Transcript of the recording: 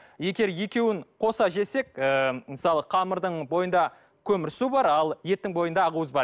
егер екеуін қоса жесек ы мысалы қамырдың бойында көмірсу бар ал еттің бойында ақуыз бар